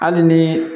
Hali ni